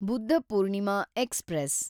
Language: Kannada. ಬುದ್ಧಪೂರ್ಣಿಮಾ ಎಕ್ಸ್‌ಪ್ರೆಸ್